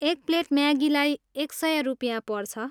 एक प्लेट म्यागीलाई एक सय रुपियाँ पर्छ।